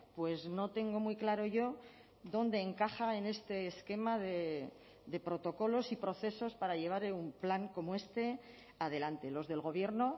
pues no tengo muy claro yo dónde encaja en este esquema de protocolos y procesos para llevar un plan como este adelante los del gobierno